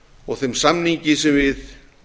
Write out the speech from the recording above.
og þeim samningi sem við